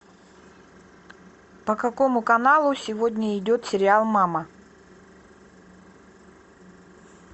по какому каналу сегодня идет сериал мама